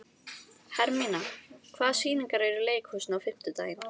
Hermína, hvaða sýningar eru í leikhúsinu á fimmtudaginn?